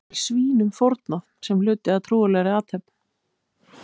Þar er svínum fórnað sem hluti af trúarlegri athöfn.